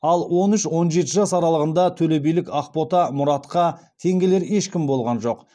ал он үш он жеті жас аралығында төлебилік ақбота мұратқа тең келер ешкім болған жоқ